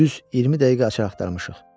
Düz 20 dəqiqə açar axtarmışıq.